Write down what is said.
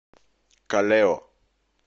калео